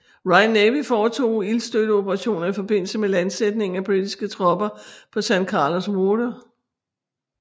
Royal Navy foretog ildstøtteoperationer i forbindelse med landsætningen af britiske tropper på San Carlos Water